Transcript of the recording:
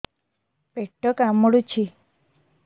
ପେଟ କାମୁଡୁଛି